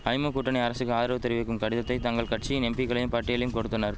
ஐமு கூட்டணி அரசுக்கு ஆதரவு தெரிவிக்கும் கடிதத்தை தங்கள் கட்சியின் எம்பிக்களிம் பட்டியலையும் கொடுத்தனர்